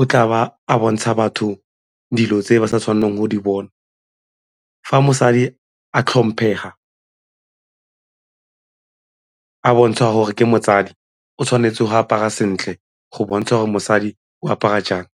o tla ba a bontsha batho dilo tse di sa tshwanelang go di bona. Fa mosadi a tlhomphega, a bontsha gore ke motsadi o tshwanetse go apara sentle go bontsha gore mosadi o apara jang.